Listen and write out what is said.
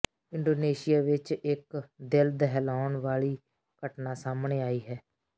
Indonesia ਵਿੱਚ ਇੱਕ ਦਿਲ ਦਹਿਲਾਉਣ ਵਾਲੀ ਘਟਨਾ ਸਾਹਮਣੇ ਆਈ ਹੈ